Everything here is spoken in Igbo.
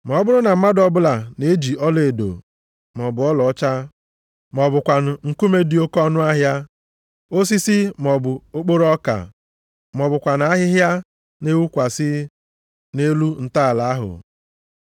Ma ọ bụrụ na mmadụ ọbụla na-eji ọlaedo maọbụ ọlaọcha, ma ọ bụkwanụ nkume dị oke ọnụahịa, osisi maọbụ okporo ọka, ma ọ bụkwanụ ahịhịa na-ewukwasị nʼelu ntọala ahụ,